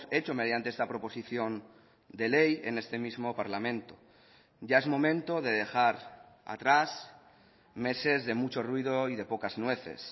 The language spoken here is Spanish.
hecho mediante esta proposición de ley en este mismo parlamento ya es momento de dejar atrás meses de mucho ruido y de pocas nueces